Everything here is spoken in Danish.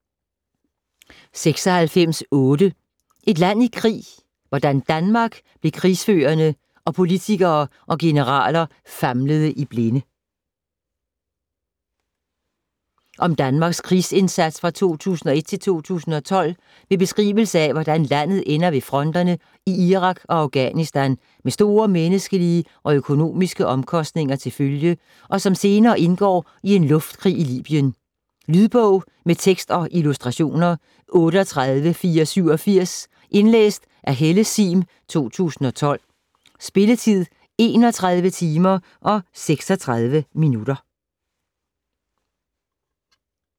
96.8 Et land i krig: hvordan Danmark blev krigsførende - og politikere og generaler famlede i blinde Om Danmarks krigsindsats fra 2001 til 2012 med beskrivelse af hvordan landet ender ved fronterne i Irak og Afghanistan med store menneskelige og økonomiske omkostninger til følge, og som senere indgår i en luftkrig i Libyen. Lydbog med tekst og illustrationer 38487 Indlæst af Helle Sihm, 2012. Spilletid: 31 timer, 36 minutter.